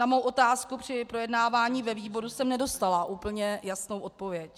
Na svou otázku při projednávání ve výboru jsem nedostala úplně jasnou odpověď.